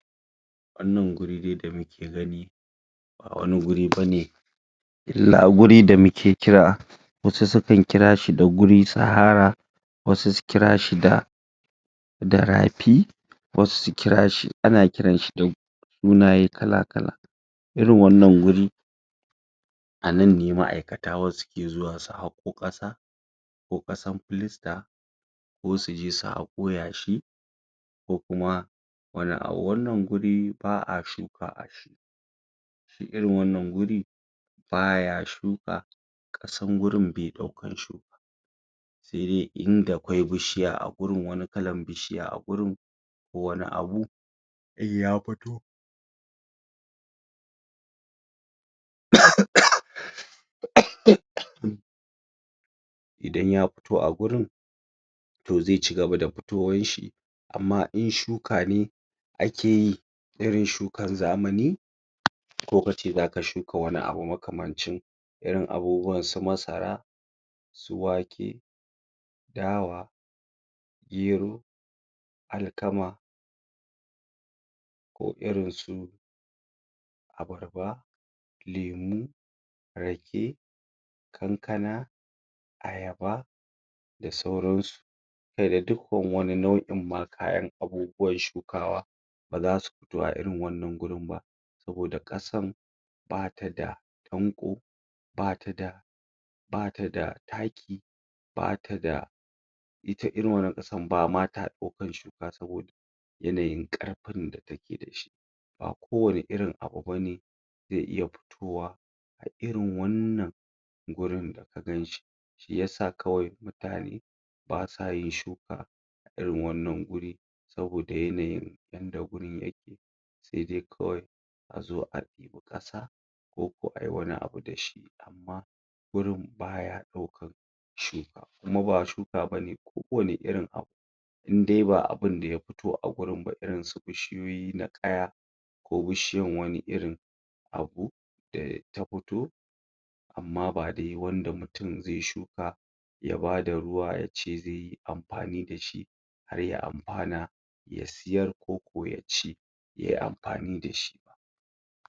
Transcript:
Wannan guri dai da muke gani ba wani guri bane illa guri da muke kira wasu sukan kira shi da guri Sahara wasu su kira shi da da rafi wasu su kira shi ana kiranshi? sunaye kala kala irin wannan guri a nan ne ma'aikata wasu ke zuwa su haƙo ƙasa ko ƙasan filasta ko su je su haƙo yashi ko kuma wani abu. Wannan guri ba a shuka irin wannan guri baya shuka ƙasan gurin bai ɗaukan shuka sai dai in da kwai bishiya a gurin wani kalan bishiya a gurin ko wani abu in ya fito? idan ya fito a gurin to zai cigaba da fitowanshi amma in shuka ne ake yi irin shuka zamani ko kace zaka shuka wani makamancin irin abubuwan su masara su wake dawa gero alkama ko irin su abarba lemu rake kankana ayaba da sauransu kai da dukkan wani nau'in ma kayan abubuwan shukawa baza su fito a irin wannan gurin ba saboda ƙasan bata da danƙo bata da bata da taki bata da ita irin wannan ƙasan bata ɗaukan shuka saboda yanayin ƙarfin da take da shi ba ko wani irin abu bane zai iya fiowa a irin wannan gurin da ka ganshi shiyasa kawai mutane basa yin shuka a irin wannan guri saboda yanayin yanda gurin yake sai dai kawai a zo a ɗebi ƙasa ko ko ayi wani abu da shi amma gurin baya ɗaukan shuka kuma ba shuka bane ko wani irin abu inda dai ba abunda ya fito a gurin ba irin su bishiyoyi na ƙaya ko bishiyan wani irin abu da ta fito amma ba dai wanda mutum zai shuka ya bada ruwa yace zai yi amfani da shi har ya amfana ya siyar ko ko ya ci yayi amfani da shi.